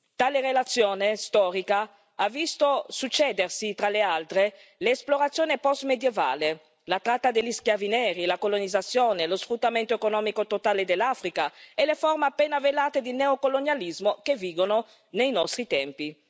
Tale relazione storica ha visto succedersi, tra l'altro, le esplorazioni post medievali, la tratta degli schiavi neri, la colonizzazione, lo sfruttamento economico totale dell'Africa e le forme appena velate di neocolonialismo che vigono nei nostri tempi.